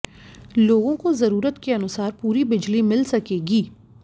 लोगों को जरूरत के अनुसार पूरी बिजली मिल सकेंगी